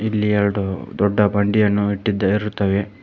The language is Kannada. ಇಲ್ಲಿ ಎರಡು ದೊಡ್ಡ ಬಂಡಿಯನ್ನು ಇಟ್ಟಿದ್ದ ಇರುತ್ತವೆ.